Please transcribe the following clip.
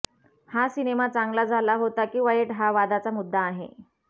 हा सिनेमा चांगला झाला होता की वाईट हा वादाचा मुद्दा आहे